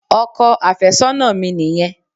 Ọkọ àfẹ́sọ́nà mi nìyẹn.